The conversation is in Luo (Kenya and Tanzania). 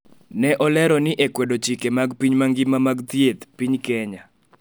ne olero ni e kwedo chike mag piny mangima mag thieth, piny Kenya